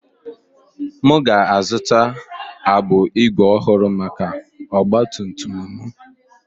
M ga-azụta agbụ ígwè ọhụrụ maka ọgba tum tum m.